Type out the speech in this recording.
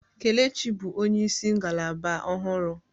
Kelechi bụ onyeisi ngalaba ọhụrụ.